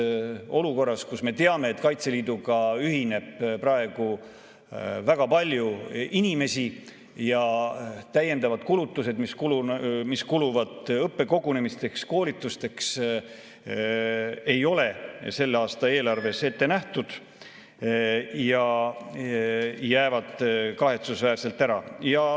Seda olukorras, kus Kaitseliiduga ühineb väga palju inimesi ja täiendavaid kulutusi õppekogunemiste ja koolituste tarvis ei ole selle aasta eelarves ette nähtud ning need jäävad kahetsusväärselt ära.